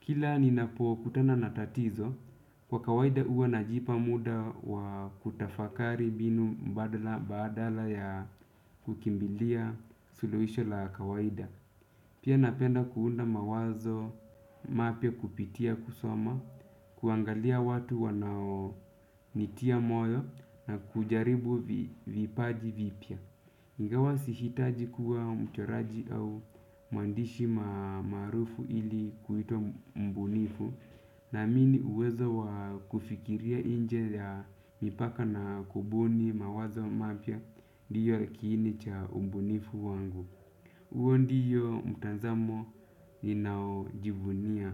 Kila ninapo kutana na tatizo, kwa kawaida huwa najipa muda wa kutafakari mbinu mbadal badala ya kukimbilia suluhisho la kawaida. Pia napenda kuunda mawazo, mapya kupitia kusoma, kuangalia watu wanao nitia moyo na kujaribu vipaji vipya. Ingawa si hitaji kuwa mchoraji au muandishi maarufu ili kuitwa mbunifu. Naamini uwezo wa kufikiria inje ya mipaka na kubuni mawazo mapya ndiyo kiini cha ubunifu wangu. Uo ndiyo mtanzamo ninaojivunia.